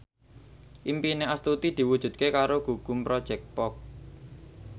impine Astuti diwujudke karo Gugum Project Pop